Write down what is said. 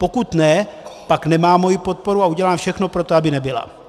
Pokud ne, pak nemá moji podporu a udělám všechno pro to, aby nebyla.